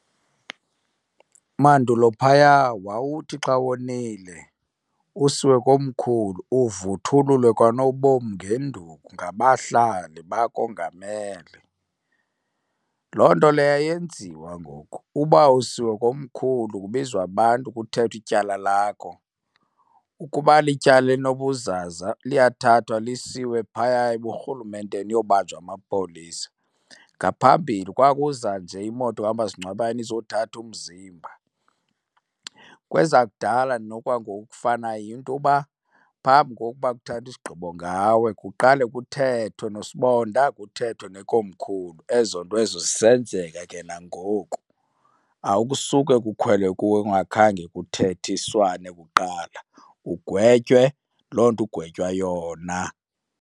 Mandulo phaya wawuthi xa wonile usiwe komkhulu uvuthululwe kanobomi ngenduku ngabahlali, bakongamele. Loo nto leyo ayenziwa ngoku, uba usiwe komkhulu kubizwa abantu kuthethwe ityala lakho. Ukuba lityala elinobuzaza liyathathwa lisiwe phaya ebuRhulumenteni uyobanjwa ngamapolisa. Ngaphambili kwakuza nje imoto kamasingcwabane izothatha umzimba. Kwezakudala nokwangoku okufana yinto uba phambi kokuba kuthathwe isigqibo ngawe kuqale kuthethwe nosibonda kuthethwe nekomkhulu. Ezo nto ezo zisenzeka ke nangoku, akusuke kukhwelwe kuwe kungakhange kuthethiswane kuqala ugwetywe loo nto ugwetywa yona.